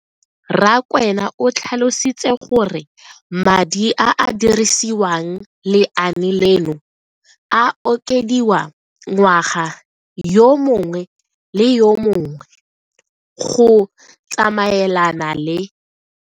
Rakwena o tlhalositse gore madi a a dirisediwang lenaane leno a okediwa ngwaga yo mongwe le yo mongwe go tsamaelana le